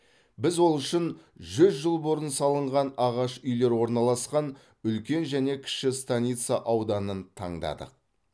біз ол үшін жүз жыл бұрын салынған ағаш үйлер орналасқан үлкен және кіші станица ауданын таңдадық